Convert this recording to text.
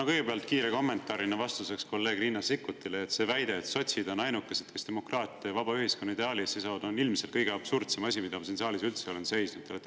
No kõigepealt kiire kommentaarina vastuseks kolleeg Riina Sikkutile: see väide, et sotsid on ainukesed, kes demokraatia ja vaba ühiskonna ideaali eest seisavad, on ilmselt kõige absurdsem asi, mida ma siin saalis üldse olen.